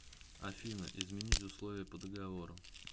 афина изменить условия по договору